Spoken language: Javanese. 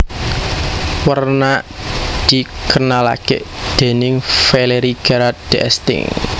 Werna dikenalake déning Valéry Gerard d Esting